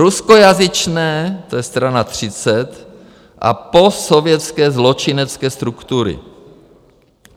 Ruskojazyčné - to je strana 30 - a postsovětské zločinecké struktury.